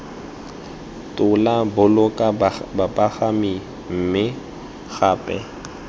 tola boloka bapagami mme gape